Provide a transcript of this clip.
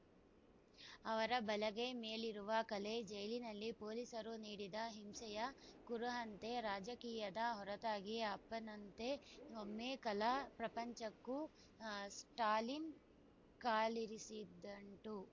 ಅವರ ಬಲಗೈ ಮೇಲಿರುವ ಕಲೆ ಜೈಲಿನಲ್ಲಿ ಪೊಲೀಸರು ನೀಡಿದ ಹಿಂಸೆಯ ಕುರುಹಂತೆ ರಾಜಕೀಯದ ಹೊರತಾಗಿ ಅಪ್ಪನಂತೆ ಒಮ್ಮೆ ಕಲಾ ಪ್ರಪಂಚಕ್ಕೂ ಸ್ಟಾಲಿನ್‌ ಕಾಲಿರಿಸಿದ್ದುಂಟು